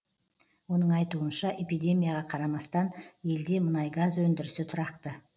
оның айтуынша эпидемияға қарамастан елде мұнай газ өндірісі тұрақты